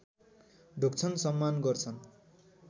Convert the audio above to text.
ढोग्छन् सम्मान गर्छन्